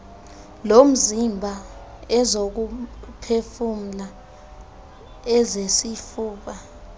lomzimba ezokuphefumla ezesifuba